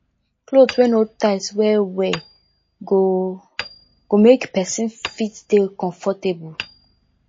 cloth wey no tight well well go go make person fit dey comfortable